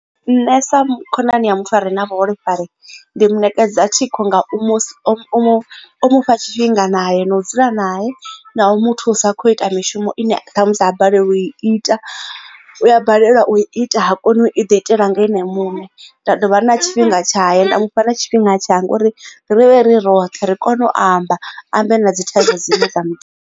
Nṋe sa khonani ya muthu a re na vhuholefhali ndi munekedzi thikho nga mufha tshifhinga naye no dzula nae na u mu thusa kho ita mishumo ine ṱhamusi ha balelwa u i ita u ya balelwa u ita ha koni u i ḓo itela nga ene muṋe. Nda dovha na tshifhinga tshaye nda mu fha na tshifhinga tshanga uri ri vhe ri roṱhe ri kone u amba ambe na dzi thanga dzine dza mu.